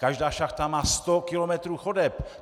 Každá šachta má sto kilometrů chodeb.